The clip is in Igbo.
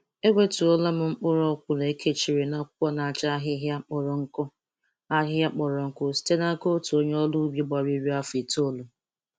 Enwettụọla m mkpụrụ ọkwụrụ e.kechiri n'akwụkwọ na-acha ahịhịa kpọrọ nkụ ahịhịa kpọrọ nkụ site n'aka otu onye ọrụ ubi gbara iri afọ itolu.